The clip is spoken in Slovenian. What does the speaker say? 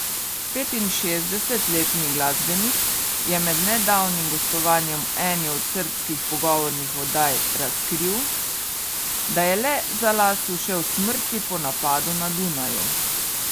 Petinšestdesetletni glasbenik je med nedavnim gostovanjem v eni od srbskih pogovornih oddaj razkril, da je le za las ušel smrti po napadu na Dunaju.